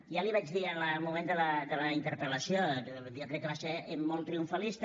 ja li ho vaig dir en el moment de la interpel·lació jo crec que va ser molt triomfalista